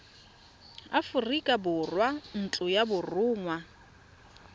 aforika borwa ntlo ya borongwa